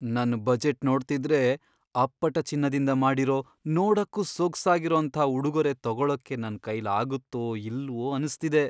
ನನ್ ಬಜೆಟ್ ನೋಡ್ತಿದ್ರೆ, ಅಪ್ಪಟ ಚಿನ್ನದಿಂದ ಮಾಡಿರೋ, ನೋಡಕ್ಕೂ ಸೊಗ್ಸಾಗಿರೋಂಥ ಉಡುಗೊರೆ ತಗೊಳಕ್ಕೆ ನನ್ಕೈಲಾಗತ್ತೋ ಇಲ್ವೋ ಅನ್ಸ್ತಿದೆ.